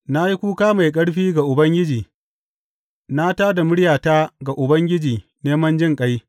Na yi kuka mai ƙarfi ga Ubangiji; na tā da muryata ga Ubangiji neman jinƙai.